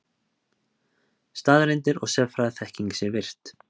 Staðreyndir og sérfræðiþekking sé virt.